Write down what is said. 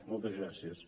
moltes gràcies